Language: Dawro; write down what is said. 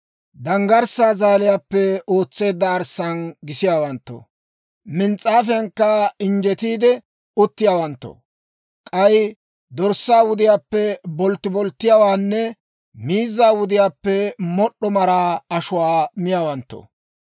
danggarssaa zaaliyaappe ootseedda arssaan gisiyaawanttoo, mins's'aafiyankka injjetiide uttiyaawanttoo, k'ay dorssaa wudiyaappe boltti bolttatuwaanne miizzaa zadaluwaappe mod'd'o maraa ashuwaa miyaawanttoo,